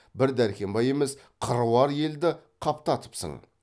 бір дәркембай емес қыруар елді қаптатыпсың